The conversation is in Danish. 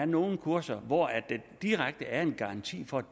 nogle kurser hvor der direkte er en garanti for